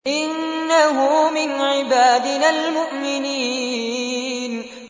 إِنَّهُ مِنْ عِبَادِنَا الْمُؤْمِنِينَ